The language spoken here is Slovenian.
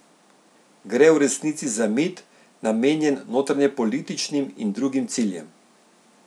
Gre v resnici za mit, namenjen notranjepolitičnim in drugim ciljem?